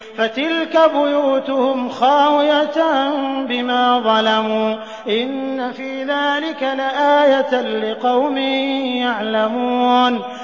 فَتِلْكَ بُيُوتُهُمْ خَاوِيَةً بِمَا ظَلَمُوا ۗ إِنَّ فِي ذَٰلِكَ لَآيَةً لِّقَوْمٍ يَعْلَمُونَ